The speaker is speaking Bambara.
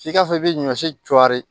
F'i ka fɔ i be ɲɔ si jɔri